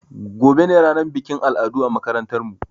Gobe ne ranar bikin al'adu a makarantar mu